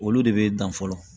Olu de bɛ dan fɔlɔ